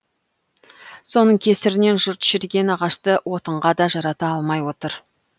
соның кесірінен жұрт шіріген ағашты отынға да жарата алмай отыр